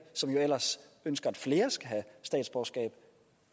som jo ellers ønsker at flere skal have statsborgerskab